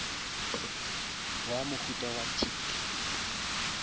wa mohuta wa tic